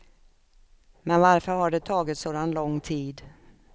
Men varför har det tagit sådan lång tid?